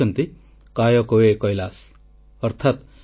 • ସ୍ୱଚ୍ଛ ଭାରତର ସ୍ମରଣୀୟ ଯାତ୍ରାରେ ମନ୍ କୀ ବାତ୍ ଶ୍ରୋତାମାନଙ୍କ ବଡ଼ ଅବଦାନ